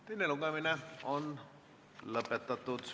Teine lugemine on lõpetatud.